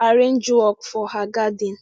arrange work for her garden